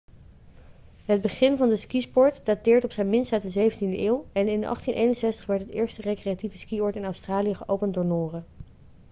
het begin van de skisport dateert op zijn minst uit de 17e eeuw en in 1861 werd het eerste recreatieve skioord in australië geopend door noren